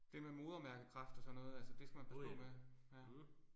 Det med modermærkekræft og sådan noget altså det skal man passer på med